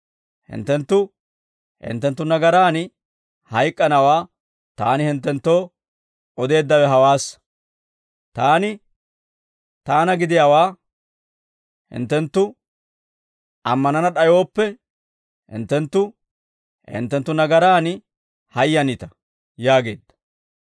Hinttenttu, hinttenttu nagaraan hayk'k'anawaa Taani hinttenttoo odeeddawe hawaassa; Taani Taana gidiyaawaa hinttenttu ammanana d'ayooppe, hinttenttu, hinttenttu nagaraan hayyanita» yaageedda.